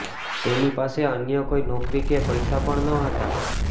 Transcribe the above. તેની પાસે અન્ય કોઈ નોકરી કે પૈસા પણ નહોતા